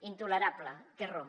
intolerable té raó